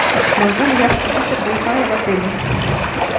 могу ли я подключиться к вай фаю в отеле